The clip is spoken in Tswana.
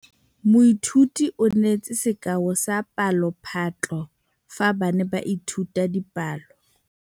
Moithuti o neetse sekaô sa palophatlo fa ba ne ba ithuta dipalo.